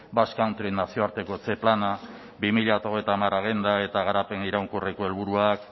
basque country nazioartekotze plana bi mila hogeita hamar agenda eta garapen iraunkorreko helburuak